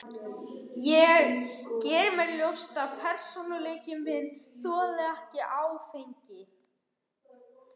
Ég geri mér ljóst að persónuleiki minn þolir ekki áfengi.